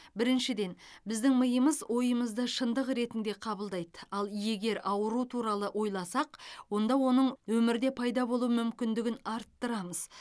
біріншіден біздің миымыз ойымызды шындық ретінде қабылдайды ал егер ауру туралы ойласақ онда оның өмірде пайда болу мүмкіндігін арттырамыз